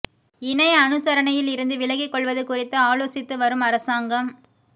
இணை அனுசரணையில் இருந்து விலகிக் கொள்வது குறித்து ஆலோசித்து வரும் அரசாங்கம்